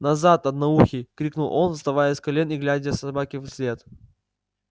назад одноухий крикнул он вставая с колен и глядя собаке вслед